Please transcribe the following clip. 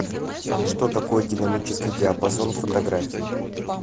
что такое динамический диапазон в фотографии